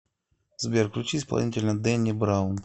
сбер включи исполнителя дэнни браун